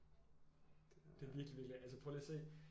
Det er virkelig virkelig altså prøv lige at se